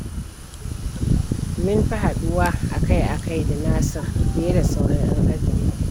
Mun fi haɗuwa akai-akai da Nasir, fiye da sauran 'yan ajinmu.